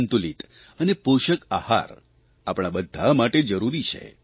સંતુલિત અને પોષક આહાર આપણા બધા માટે જરૂરી છે